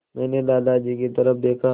मैंने दादाजी की तरफ़ देखा